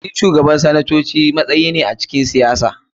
Shi Shugaban sanatoci matsayi ne a cikin siyasa.